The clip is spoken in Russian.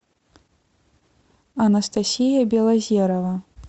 анастасия белозерова